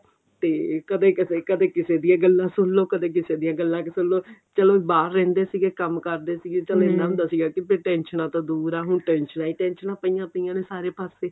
ਤੇ ਕਦੇ ਕਿਸੇ ਕਿਸੇ ਦੀਆਂ ਗੱਲਾਂ ਸੁਣਲੋ ਕਦੇ ਕਿਸੇ ਦੀਆਂ ਗੱਲਾਂ ਸੁਣਲੋ ਚਲੋ ਬਾਹਰ ਰਹਿੰਦੇ ਸੀਗੇ ਕੰਮ ਕਰਦੇ ਸੀਗੇ ਚਲੋ ਇੰਨਾ ਹੁੰਦਾ ਸੀ ਕੀ ਟੈਨਸ਼ਨਾਂ ਤੋਂ ਦੂਰ ਆਂ ਹੁਣ ਟੈਨਸ਼ਨਾਂ ਹੀ ਟੈਨਸ਼ਨਾਂ ਪਈਆਂ ਪਈਆਂ ਨੇ ਸਾਰੇ ਪਾਸੇ